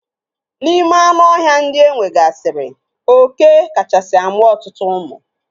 N'ime anụ ọhịa ndị enwegasiri, oké kachasi amụ ọtụtụ ụmụ.